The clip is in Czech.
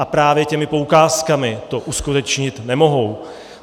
A právě těmi poukázkami to uskutečnit nemohou.